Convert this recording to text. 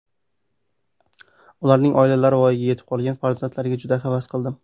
Ularning oilalari, voyaga yetib qolgan farzandlariga juda havas qildim.